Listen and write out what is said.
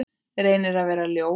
Reynir að vera ljón.